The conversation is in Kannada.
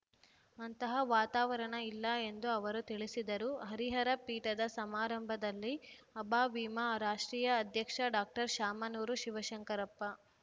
ಅಂತಹವಾತಾವರಣ ಇಲ್ಲ ಎಂದು ಅವರು ತಿಳಿಸಿದರು ಹರಿಹರ ಪೀಠದ ಸಮಾರಂಭದಲ್ಲಿ ಅಭಾವೀಮ ರಾಷ್ಟ್ರೀಯ ಅಧ್ಯಕ್ಷ ಡಾಕ್ಟರ್ ಶಾಮನೂರು ಶಿವಶಂಕರಪ್ಪ